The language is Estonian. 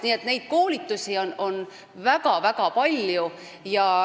Nii et koolitusi on väga-väga palju.